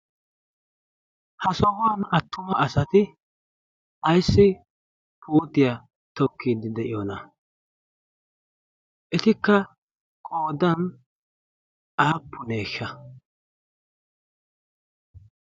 ha sohuwan attuma asati aissi putiyaa tokkiid de'iyoona eti ka qodan aappuneeshsha?